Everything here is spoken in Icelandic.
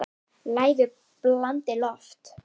Lævi blandið loft.